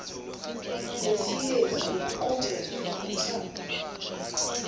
nesiyezi ukuqunjelwa ukuchama